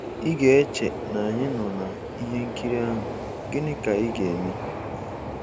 Ị ga-eche na anyị nọ na ihe nkiri ahụ, "Gịnị Ka Ị Ga-eme."